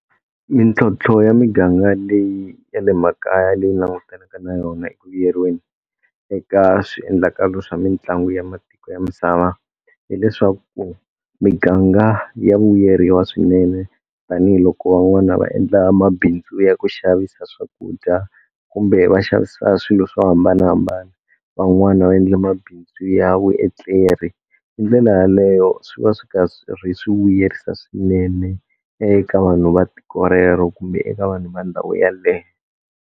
Mintlhontlho ya miganga leyi ya le makaya leyi ni langutanaka na yona eku vuyeriweni eka swiendlakalo swa mitlangu ya matiko ya misava hileswaku miganga ya vayeriwa swinene tanihiloko van'wana va endla mabindzu ya ku xavisa swakudya kumbe va xavisa swilo swo hambanahambana van'wana va endla mabindzu ya vuetleri hi ndlela yaleyo swi va swi ka swi ri swi vuyerisa swinene eka vanhu va tiko rero kumbe eka vanhu va ndhawu yaleyo.